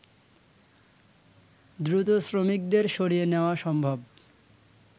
দ্রুত শ্রমিকদের সরিয়ে নেওয়া সম্ভব